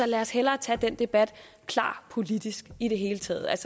lad os hellere tage den debat klart politisk i det hele taget